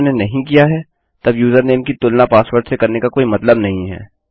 यदि उन्होंने नहीं किया है तब यूजरनेम कि तुलना पासवर्ड से करने का कोई मतलब नहीं है